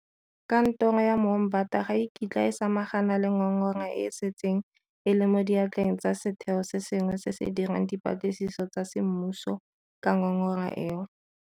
Kantoro ya Moombata ga e kitla e samagana le ngongora e e setseng e le mo diatleng tsa setheo se sengwe se se dirang dipatlisiso tsa semmuso ka ngongora eo.